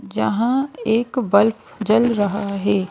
जहां एक बल्ब जल रहा है।